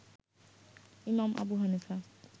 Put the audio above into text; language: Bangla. ইমাম আবু হানিফা